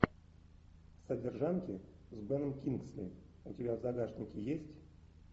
содержанки с беном кингсли у тебя в загашнике есть